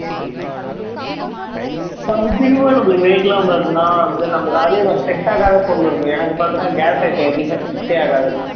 weight லாம் பாத்தீண்ணா அதேமாதிரி set ஆகாத பொருள் இருக்கு எனக்கு பாத்திங்கண்ணா gas item எதுவுமே set ஆகாது